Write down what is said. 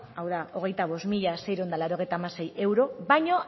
hau da hogeita bost mila seiehun eta laurogeita hamasei euro baina